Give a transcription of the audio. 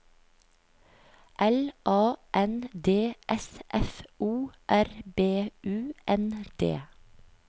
L A N D S F O R B U N D